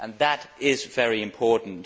That is very important.